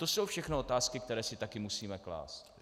To jsou všechno otázky, které si také musíme klást.